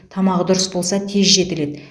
тамағы дұрыс болса тез жетіледі